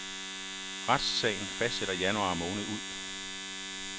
Retssagen fortsætter januar måned ud.